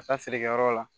Ka taa feerekɛyɔrɔ la